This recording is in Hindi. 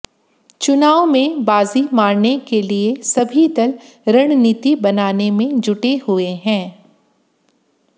चुनाव में बाजी मारने के लिए सभी दल रणनीति बनाने में जुटे हुए हैं